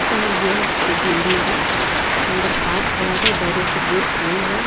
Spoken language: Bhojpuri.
यह कोनो बैंक के बिल्डिंग बा। अंदर कार खड़ा बा बहरी से गेट बंद बा।